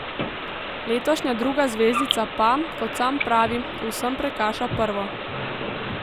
Letošnja druga zvezdica pa, kot sam pravi, v vsem prekaša prvo.